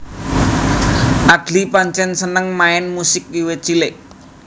Adly pancèn seneng main musik wiwit cilik